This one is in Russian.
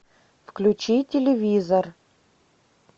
включи телевизор